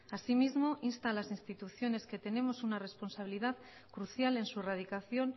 asimismo insta a las instituciones que tenemos una responsabilidad crucial en su erradicación